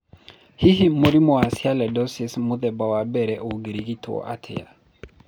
Hihi mũrimũ wa sialidosis mũthemba wa I ũngĩrigitũo atĩa?